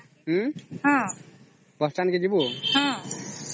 bus stand କେ ଯିବୁ